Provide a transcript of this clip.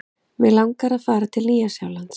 Mig langar að fara til Nýja-Sjálands.